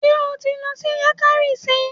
Ṣé o ti lọ sí Yankari sí?